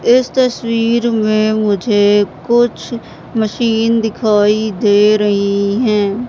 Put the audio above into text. इस तस्वीर में मुझे कुछ मशीन दिखाई दे रही हैं।